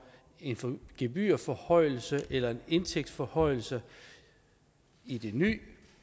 en gebyrforhøjelse eller en indtægtsforhøjelse i den nye